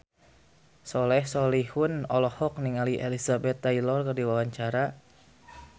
Soleh Solihun olohok ningali Elizabeth Taylor keur diwawancara